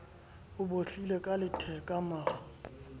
o bohlile ka letheka maru